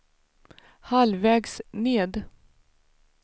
halvvägs ned